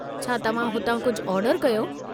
छा तव्हां हुतां कुझु ऑर्डरु कयो?